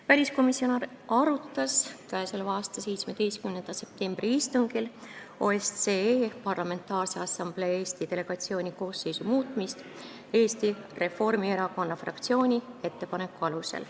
Väliskomisjon arutas k.a 17. septembri istungil OSCE Parlamentaarse Assamblee Eesti delegatsiooni koosseisu muutmist Eesti Reformierakonna fraktsiooni ettepaneku alusel.